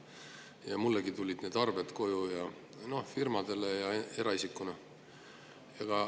Mullegi tulid need arved koju, firmadele ja kui eraisikule.